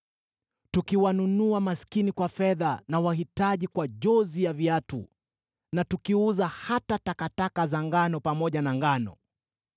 mkiwanunua maskini kwa fedha, na wahitaji kwa jozi ya viatu, na mkiuza hata takataka za ngano pamoja na ngano.